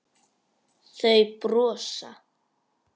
Þau brosa.